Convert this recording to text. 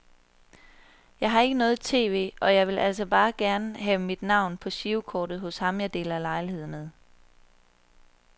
Jeg har ikke noget tv, og jeg ville altså bare gerne have mit navn på girokortet hos ham jeg deler lejlighed med.